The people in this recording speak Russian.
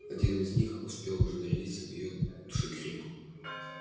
один из них успел уже нарядиться в её душегрейку